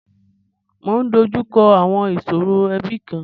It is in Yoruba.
Mọ ń dojú kọ àwọn ìṣòro ẹbi kan.